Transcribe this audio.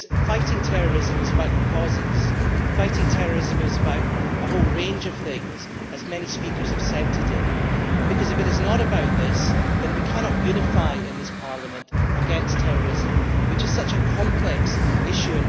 Fighting terrorism is about the causes of terrorism, and it is about a whole range of things as many speakers have said today because, if it is not about these things, then we cannot unite here in Parliament against terrorism, which is such a complex issue.